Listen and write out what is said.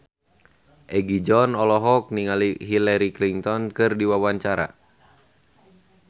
Egi John olohok ningali Hillary Clinton keur diwawancara